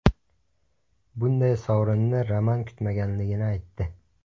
Bunday sovrinni Roman kutmaganligini aytdi.